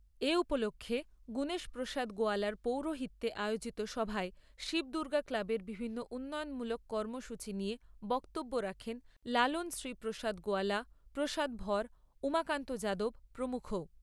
এ উপলক্ষ্যে গুণেশ প্রসাদ গোয়ালার পৌরোহিত্যে আয়োজিত সভায় শিব দুর্গা ক্লাবের বিভিন্ন উন্নয়নমূলক কাৰ্য্যসূচী নিয়ে বক্তব্য রাখেন লালন শ্রী প্রসাদ গোয়ালা, প্রসাদ ভর, উমাকান্ত যাদব প্রমূখ।